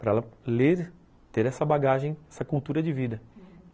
Para ela ler, ter essa bagagem, essa cultura de vida, uhum.